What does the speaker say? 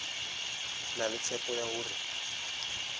na le tshepo ya hore